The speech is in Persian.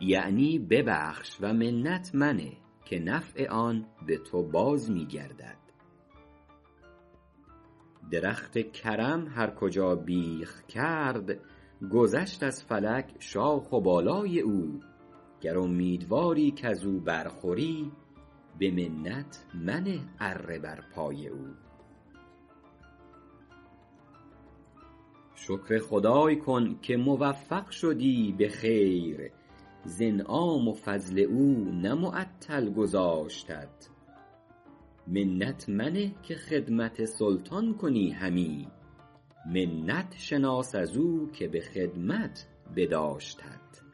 یعنی ببخش و منت منه که نفع آن به تو باز می گردد درخت کرم هر کجا بیخ کرد گذشت از فلک شاخ و بالای او گر امیدواری کز او بر خوری به منت منه اره بر پای او شکر خدای کن که موفق شدی به خیر ز انعام و فضل او نه معطل گذاشتت منت منه که خدمت سلطان کنی همی منت شناس از او که به خدمت بداشتت